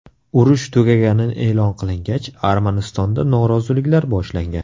Urush tugagani e’lon qilingach, Armanistonda noroziliklar boshlangan.